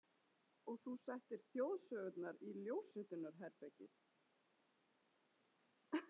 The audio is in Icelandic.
Og þú settir Þjóðsögurnar í ljósritunarherbergið.